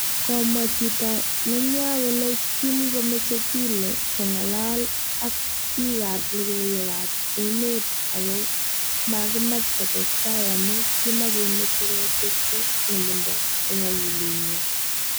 Komwaa chito nenywaa kole kimkomeche Killie kongalal ak pik ap logoiwek a emet ako makimach kotestai amu kimakemeche keteschi ngemindo ing akilit nyi.